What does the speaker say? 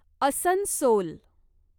Asansol